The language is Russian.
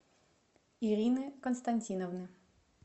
ирины константиновны